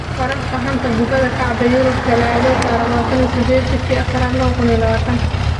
Wararka xanta kubada cagta Yurub Talaado 28.04.2020: Pogba, Lingard, Sancho, Dembele, Coutinho, Kean